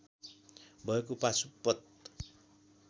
भएको पाशुपत